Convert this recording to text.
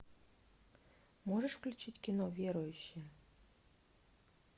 можешь включить кино верующие